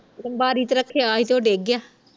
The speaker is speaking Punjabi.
ਬਾਰੀ ਤੇ ਰੱਖਿਆ ਹੀ ਉਹ ਡਿਗ ਗਿਆ